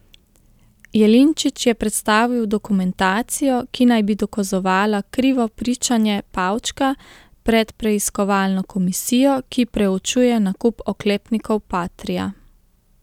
Jelinčič je predstavil dokumentacijo, ki naj bi dokazovala krivo pričanje Pavčka pred preiskovalno komisijo, ki preučuje nakup oklepnikov patria.